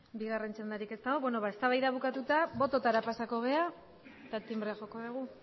bigarren txandarik ez dago beno eztabaida bukatuta botoetara pasako gara eta tinbrea joko dugu